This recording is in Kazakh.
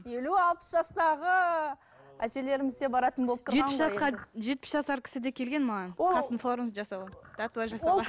елу алпыс жастағы әжелеріміз де баратын болып жетпіс жасар кісі де келген маған қастың формасын жасауға